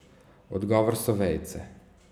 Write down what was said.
Odgovor so vejice.